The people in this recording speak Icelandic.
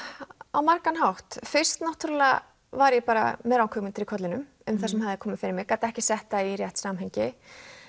á margan hátt fyrst var ég bara með ranghugmyndir í kollinum um það sem hafði komið fyrir mig gat ekki sett það í rétt samhengi